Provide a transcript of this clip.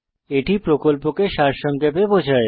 এটি প্রকল্পকে সারসংক্ষেপে বোঝায়